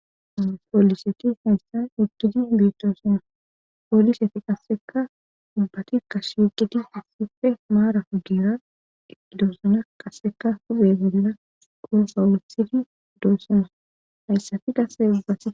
pooliseti hayssan hugidi bitoosan pooliseti qasseka dubbati kashuuqeti hussife maara hugira iloozona qasseka hube bolla gonsa wuethifi doossana hayssafi gassebaas